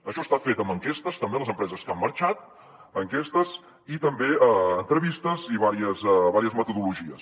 això està fet amb enquestes també a les empreses que han marxat enquestes i també entrevistes i diverses metodologies